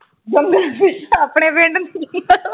ਜੰਗਲਾਂ ਚ ਆਪਣੇ ਪਿੰਡ